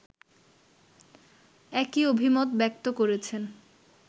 একই অভিমত ব্যক্ত করেছেন